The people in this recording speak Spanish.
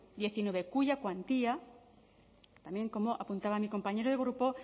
diecinueve cuya cuantía también como apuntaba mi compañero de grupo